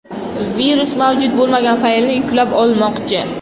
Virus mavjud bo‘lmagan faylni yuklab olmoqchi.